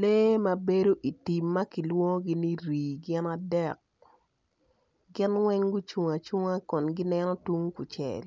Lee ma bedi itim ma kilwongogi ni rii gin adek gin weny gucung acunga kun gineno tung kucel